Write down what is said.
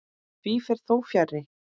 Því fer þó fjarri.